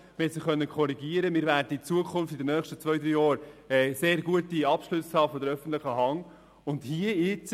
Wir haben sie korrigieren können, und wir werden in den nächsten zwei oder drei Jahren sehr gute Abschlüsse vonseiten der öffentlichen Hand haben.